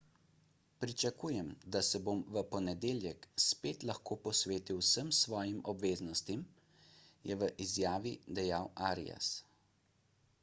pričakujem da se bom v ponedeljek spet lahko posvetil vsem svojim obveznostim je v izjavi dejal arias